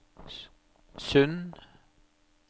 Sund